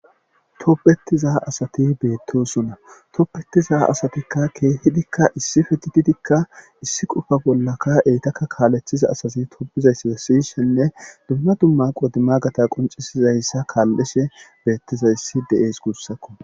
Toppetizaa asati beettosuna toppetiza asatikka keehidikka issi fetididikka issi qufa bollaka eytakka kaaleththiza asazi topbizayss wessishenne dumma dumma qodima gata qoncisizayssa kaallishe beettizayssi de'es gussakko.